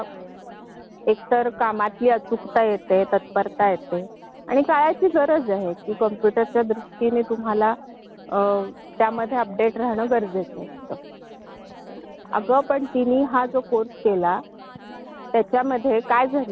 हो आगा , कम्प्युटर हे असं क्षेत्र आहे की आपली सगळी कामे कंप्यूटर शी निगडित आहेत ना आणि अस्थिकता, कामाची तत्परत आणि काळाची गरज या दृष्टीने संपूर्ण कम्प्युटर शिक्षण खूप महत्त्वाचा आहे